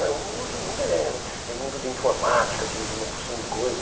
eh Hoje o mundo é é mundo de informática, de uma porção de coisas.